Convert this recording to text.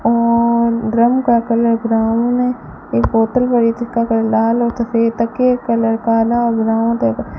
और ड्रम का colour brown है एक बोतल पड़ी है जिसका कलर लाल और सफेद तकिए का कलर कला और ब्राउन त --